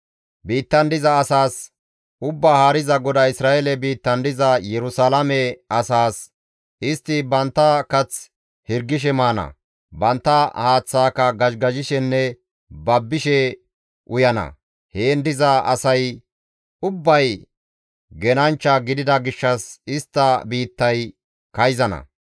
Biittan diza asaas, ‹Ubbaa Haariza GODAY Isra7eele biittan diza Yerusalaame asaas: istti bantta kath hirgishe maana; bantta haaththaaka gazhigazhishenne babbishe uyana. Heen diza asay ubbay genanchcha gidida gishshas istta biittay kayzana.